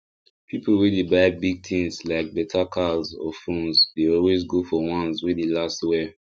people wey dey buy big things like better cars or phones dey always go for ones wey dey last well